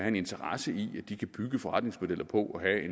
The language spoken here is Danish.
en interesse i at de kan bygge deres forretningsmodeller på at